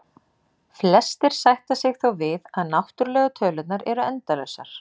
Flestir sætta sig þó við að náttúrlegu tölurnar eru endalausar.